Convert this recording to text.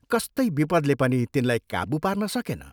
कस्तै विपदले पनि तिनलाई काबू पार्न सकेन।